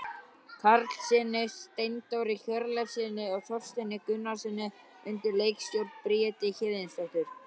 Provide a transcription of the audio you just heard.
Karlssyni, Steindóri Hjörleifssyni og Þorsteini Gunnarssyni undir leikstjórn Bríetar Héðinsdóttur.